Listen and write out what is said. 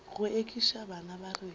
go ekiša bana ba rena